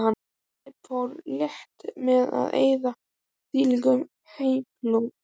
Philip fór létt með að eyða þvílíkum hleypidómum.